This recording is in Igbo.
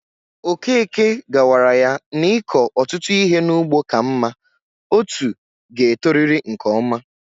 Okeke gawara yá n'iko ọtụtụ ihe n'ugbo ka mma, otú ga e toriri nke ọma